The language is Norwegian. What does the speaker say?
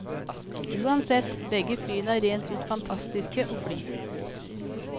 Uansett, begge flyene er rent ut fantastiske å fly.